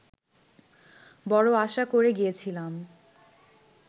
বড় আশা করে গিয়েছিলাম